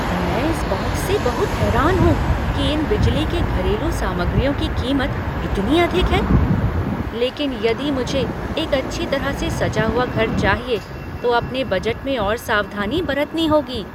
मैं इस बात से बहुत हैरान हूँ कि इन बिजली के घरेलू सामग्रियों की कीमत इतनी अधिक है, लेकिन यदि मुझे एक अच्छी तरह से सजा हुआ घर चाहिए तो अपने बजट में और सावधानी बरतनी होगी।